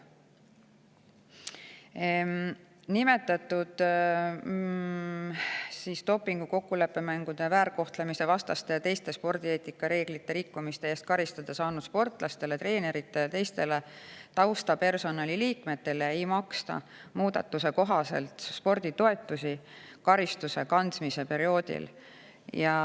Dopingureeglite, kokkuleppemängude, väärkohtlemise ja teiste spordieetikareeglite rikkumise eest karistada saanud sportlastele, treeneritele ja teistele taustapersonali liikmetele karistuse kandmise perioodil sporditoetusi ei maksta.